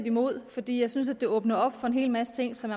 imod fordi jeg synes at det åbner op for en hel masse ting som